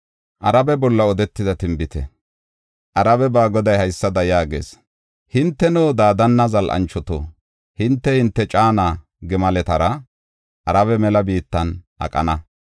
Arabe ba Goday haysada yaagees: “Hinteno Daadana zal7anchoto, hinte, hinte caana gimaletara Arabe mela biittan aqana.